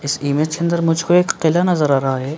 इस इमेज के अंदर मुझको एक किला नज़र आ रहा है।